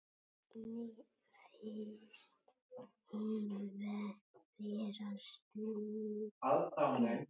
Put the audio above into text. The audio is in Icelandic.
Henni finnst hún vera slytti.